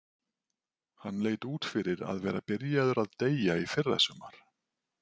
Hann leit út fyrir að vera byrjaður að deyja í fyrrasumar.